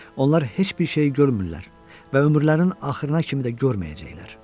Onlar heç bir şeyi görmürlər və ömürlərinin axırına kimi də görməyəcəklər.